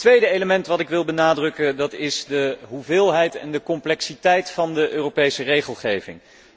Het tweede element dat ik wil benadrukken is de hoeveelheid en de complexiteit van de Europese regelgeving.